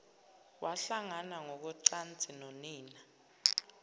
wahlangana ngokocansi nonina